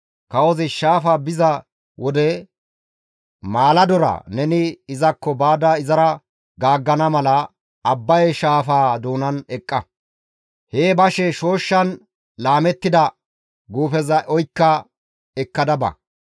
kawozi shaafa biza wode maaladora neni izakko baada izara gaaggana mala Abbaye shaafaa doonan eqqa; hee bashe shooshshan laamettida guufeza oykka ekkada ba.